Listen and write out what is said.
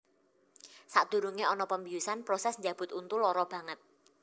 Sadurunge ana pembiusan proses njabut untu lara banget